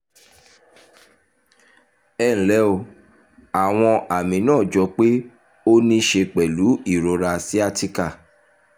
ẹ ǹlẹ́ o àwọn àmì náà jọ pé ó ní í ṣe pẹ̀lú ìrora sciatica